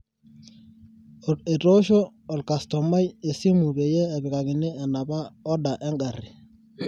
etoshoo olkastoma esimu peyie epikakini enapa oda eng'ari